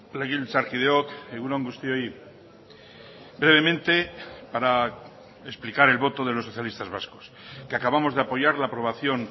legebiltzarkideok egun on guztioi brevemente para explicar el voto de los socialistas vascos que acabamos de apoyar la aprobación